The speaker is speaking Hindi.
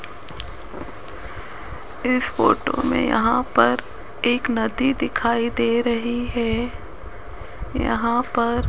इस फोटो में यहां पर एक नदी दिखाई दे रही हैं यहां पर --